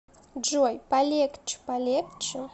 джой полегче полегче